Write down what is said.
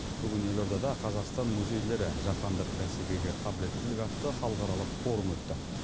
бүгін елордада қазақстан музейлері жаһандық бәсекеге қабілеттілік атты халықаралық форум өтті